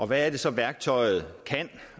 hvad er det så værktøjet kan